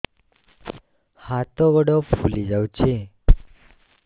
ହାତ ଗୋଡ଼ ଫୁଲି ଯାଉଛି